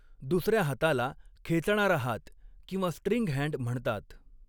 दुसऱ्या हाताला, खेचणारा हात किंवा स्ट्रिंग हॅण्ड म्हणतात.